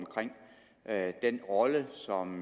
er spørgsmålet om den rolle som